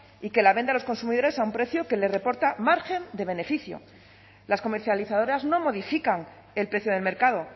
y que la vende a los consumidores a un precio que les reporta margen de beneficio las comercializadoras no modifican el precio del mercado